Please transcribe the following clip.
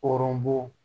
Hɔrɔn bu